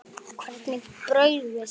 Hvernig brauð viltu?